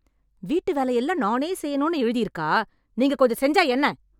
வீட்டு வேலை எல்லாம் நானே செய்யனும்னு எழுதிருக்கா ?நீங்க கொஞ்சம் செஞ்சா என்ன?